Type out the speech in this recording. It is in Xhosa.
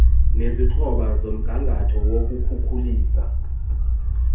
nezikroba zomgangatho wokukhukulisa